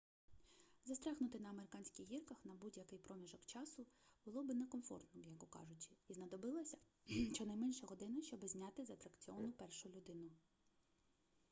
застрягнути на американських гірках на будь-який проміжок часу було би некомфортно м'яко кажучи і знадобилася щонайменше година щоби зняти з атракціону першу людину